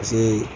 Paseke